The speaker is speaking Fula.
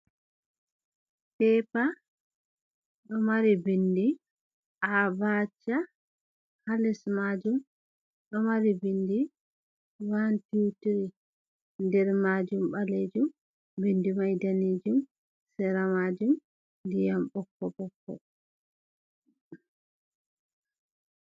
Pepa ɗo mari bindi A, Ba, Cha ha les majum ɗo mari bindi 123 nder majum ɓalejum bindi man dane jum sera majum ndiyam ɓokko ɓokko.